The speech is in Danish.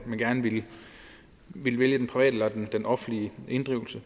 at man gerne ville vælge den private eller den offentlige inddrivelse